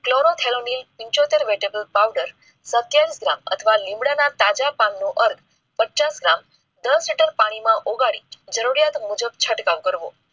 Chlorothalonil પીંછોતેર vetival powder સત્યાવીસ gram અથવા લીમડા ના તાજાં પાન નો ઔર દસ લીટર પાણી માં ઓગાળી જરૂરિયાત મુજબ છંટકાવ કરવો.